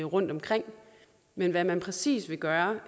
rundtomkring men hvad man præcis vil gøre